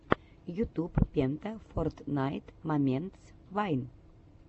ютуб пента фортнайт моментс вайн